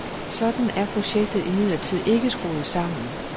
Sådan er projektet imidlertid ikke skruet sammen.